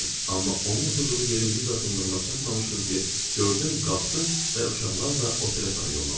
Amma onun oturduğu yerin 100 addımlığına çatmamışdım ki, gördüm qalxdı və uşaqlarla otelə sarı yollandı.